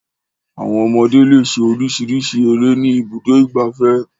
Àwọn ọmọdé le ṣe oríṣiríṣi eré ní Ibùdó-ìgbafẹ́.